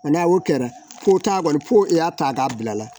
n'a y'o kɛra ko taa kɔni ko i y'a ta k'a bila la